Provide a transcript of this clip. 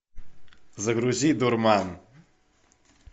загрузи дурман